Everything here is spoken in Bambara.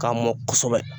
K'a mɔ kosɛbɛ